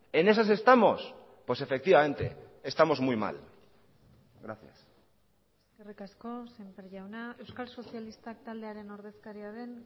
en esas estamos pues efectivamente estamos muy mal gracias eskerrik asko semper jauna euskal sozialistak taldearen ordezkaria den